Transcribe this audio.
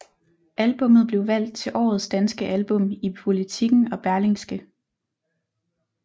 Albummet blev valgt til årets danske album i Politiken og Berlingske